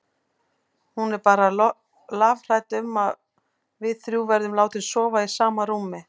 Hún er bara lafhrædd um að við þrjú verðum látin sofa í sama rúmi.